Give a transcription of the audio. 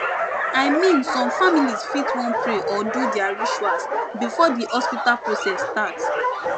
i mean some families fit wan pray or do their rituals before the hospital process start